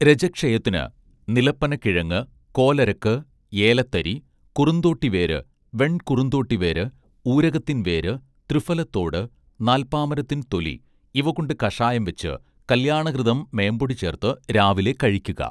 രജഃക്ഷയത്തിന് നിലപ്പനക്കിഴങ്ങ് കോലരക്ക് ഏലത്തരി കുറുന്തോട്ടിവേര് വെൺകുറുന്തോട്ടിവേര് ഊരകത്തിൻ വേര് ത്രിഫലത്തോട് നാൽപാമരത്തിൻ തൊലി ഇവകൊണ്ട് കഷായം വെച്ച് കല്യാണഘൃതം മേമ്പൊടി ചേർത്ത് രാവിലെ കഴിക്കുക